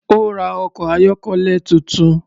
Ó́ ra ọkọ̀ ayọ́kẹ́lẹ́ tuntun.